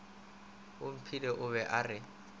omphile o be a re